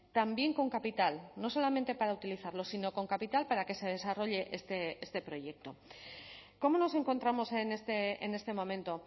también con capital no solamente para utilizarlo sino con capital para que se desarrolle este proyecto cómo nos encontramos en este momento